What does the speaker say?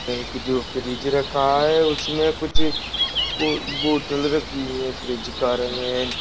एक जो फ्रीज़ रखा है उसमे कुछ बो बोतल रखी हैं। फ्रीज़ का रेंग --